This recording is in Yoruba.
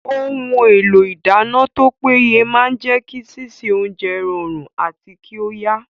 Ohun èlò ìdáná tó péye máa jẹ́ kí sísè oúnjẹ rọrùn àti kí ó yá